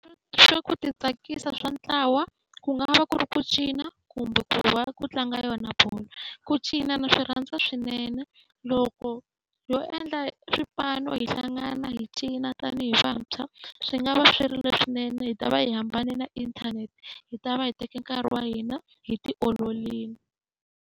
Swa ku ti tsakisa swa ntlawa ku nga va ku ri ku cina kumbe ku va ku tlanga yona bolo. Ku cina na swi rhandza swinene, loko ho endla swipano hi hlangana hi cina tanihi vantshwa, swi nga va swerile swinene. Hi ta va hi hambane na inthanete hi ta va hi teke nkarhi wa hina hi ti olorile.